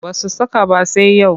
Ba su saka ba sai yau